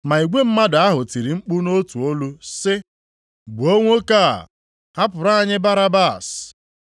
Ma igwe mmadụ ahụ tiri mkpu nʼotu olu sị, “Gbuo nwoke a, hapụrụ anyị Barabas.”